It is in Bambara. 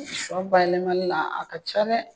Shɔ bayɛlɛmani na a ka ca dɛ.